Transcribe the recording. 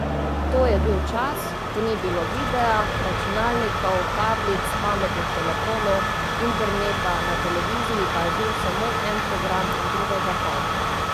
To je bil čas, ko ni bilo videa, računalnikov, tablic, pametnih telefonov, interneta, na televiziji pa je bil samo en program in drugega pol.